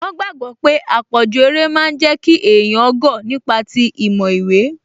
Wọ́n gbàgbọ̀ pé àpọ̀jù eré máa n jẹ́ kí èèyàn gọ̀ nípa ti ìmọ̀ ìwé